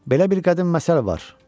Belə bir qədim məsəl var.